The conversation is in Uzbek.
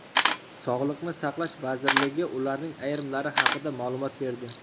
Sog‘liqni saqlash vazirligi ularning ayrimlari haqida ma’lumot berdi .